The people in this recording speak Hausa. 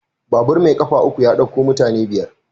Babur mai ƙafa uku ya ɗauko mutane biyar.